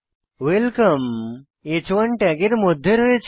welcome হ্1 ট্যাগের মধ্যে রয়েছে